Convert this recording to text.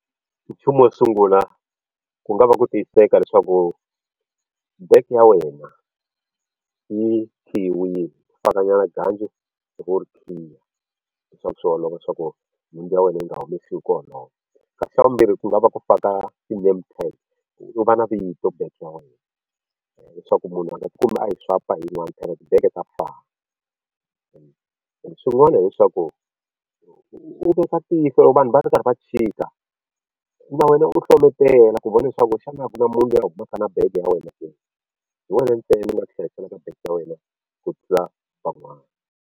Nchumu wo sungula ku nga va ku tiyiseka leswaku bege ya wena yi khiyiwile gancu ivi u ri khiya leswaku swi olova leswaku nhundzu ya wena yi nga humesiwi hi ku olova kasi xa vumbirhi ku lava ku faka ti-name tag ku u va na vito bege ya wena leswaku munhu a nga ti kumi a yi swipe hi yin'wana phela tibege ta fana and swin'wana hileswaku u veka tihlo vanhu va ri karhi va chika na wena u hlometela ku vona leswaku xana a ku na munhu loyi a humaka na bege ya wena ke hi wena ntsena u nga ti hlayiselaka bege ya wena ku tlula van'wana.